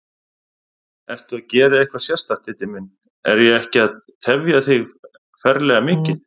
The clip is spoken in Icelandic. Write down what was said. Ertu að gera eitthvað sérstakt, Diddi minn. er ég ekki að tefja þig ferlega mikið?